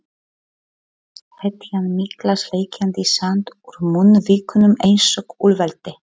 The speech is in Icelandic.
Hetjan mikla sleikjandi sand úr munnvikunum einsog úlfaldi.